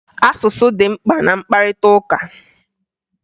Asụsụ dị mkpa na mkparịtaụka